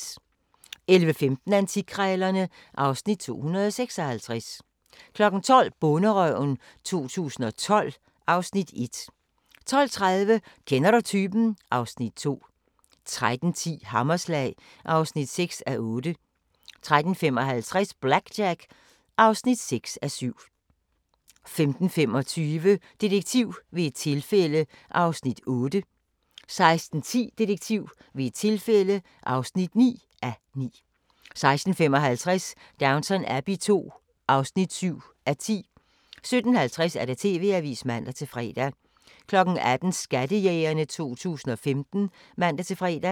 11:15: Antikkrejlerne (Afs. 256) 12:00: Bonderøven 2012 (Afs. 1) 12:30: Kender du typen? (Afs. 2) 13:10: Hammerslag (6:8) 13:55: BlackJack (6:7) 15:25: Detektiv ved et tilfælde (8:9) 16:10: Detektiv ved et tilfælde (9:9) 16:55: Downton Abbey II (7:10) 17:50: TV-avisen (man-fre) 18:00: Skattejægerne 2015 (man-fre)